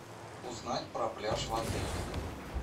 узнать про пляж в отеле